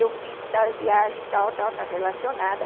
Eu fiz tal viagem, tal, tal, está relacionada.